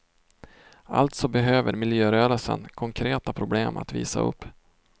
Alltså behöver miljörörelsen konkreta problem att visa upp.